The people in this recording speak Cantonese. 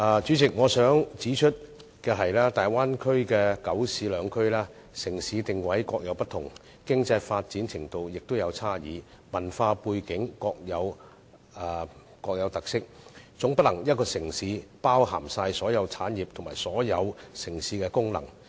主席，我想指出的是，大灣區的九市兩區，城市定位各有不同，經濟發展程度有差異，文化背景各有特色，總不能以一個城市包涵所有產業和所有城市的功能。